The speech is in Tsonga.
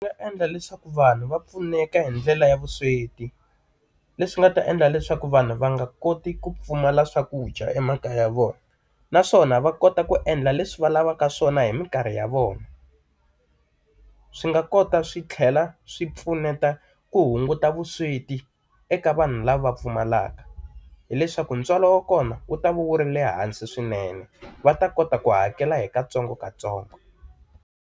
Ndzi nga endla leswaku vanhu va pfuneka hi ndlela ya vusweti, leswi nga ta endla leswaku vanhu va nga koti ku pfumala swakudya emakaya ya vona. Naswona va kota ku endla leswi va lavaka swona hi minkarhi ya vona. Swi nga kota swi tlhela swi pfuneta ku hunguta vusweti eka vanhu lava va pfumalaka. Hi leswaku ntswalo wa kona, wu ta va wu ri le hansi swinene va ta kota ku hakela hi katsongokatsongo.